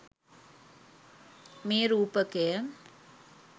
මේ රූපකය